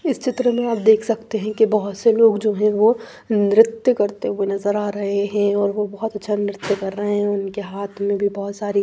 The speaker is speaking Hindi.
इस चित्र में आप देख सकते हैं कि बहुत से लोग जो है वो नृत्य करते हुए नजर आ रहे हैं और वो बहुत अच्छा नृत्य कर रहे हैं उनके हाथ में भी बहुत सारी--